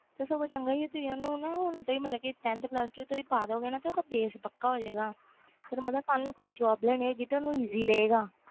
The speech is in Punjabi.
ਸਗੋਂ ਚੰਗਾ ਵ ਤੁਸੀ ਹੁਣ ਤੋਂ ਹੀ tenth pulse two ਪਾ ਦੋ ਗਏ ਨਾ ਤੋਂ base ਪਕਾ ਹੋ ਜੇ ਗਾ ਕੱਲ ਨੂੰ ਕੋਈ job ਲੈਣੀ ਹੋਵੇ ਗੀ ਤੇ easy ਹੋ ਜੇ ਗਾ